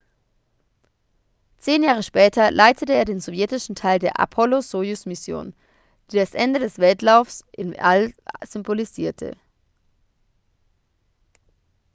zehn jahre später leitete er den sowjetischen teil der apollo-sojus-mission die das ende des wettlaufs ins all symbolisierte